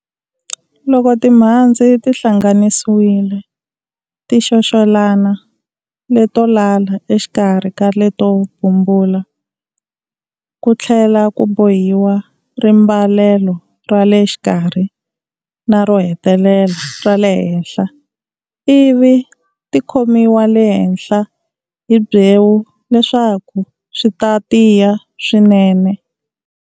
Loko timhandzi ti hlanganisiwile ti xoxelana leto lala exikarhi ka leto bumbula ku tlhela ku bohiwa rimbalelo ra le xikarhi na ro hetelela ra le henhla, ivi tikhomiwa le henhla hi byewu leswaku swi ta tiya swinene.